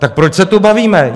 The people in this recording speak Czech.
Tak proč se tu bavíme?